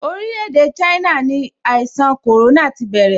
Orile-ede China ni ìṣàn corona ti bẹ̀rẹ̀.